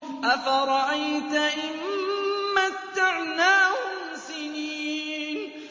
أَفَرَأَيْتَ إِن مَّتَّعْنَاهُمْ سِنِينَ